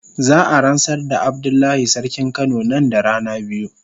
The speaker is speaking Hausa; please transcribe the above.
Za a ransar da Abdullahi sarkin kano nan da rana biyu.